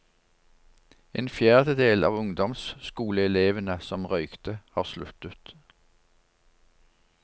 En fjerdedel av ungdomsskoleelevene som røykte, har sluttet.